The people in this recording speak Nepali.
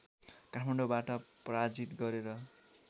काठमाडौँबाट पराजित गरेर